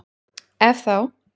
Ef þá?